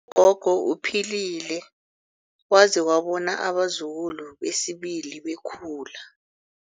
gogo uphilile waze wabona abazukulu besibili bekhula.